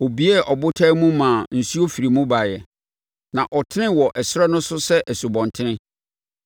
Ɔbuee ɔbotan mu maa nsuo firii mu baeɛ; na ɛtenee wɔ ɛserɛ no so sɛ asubɔnten.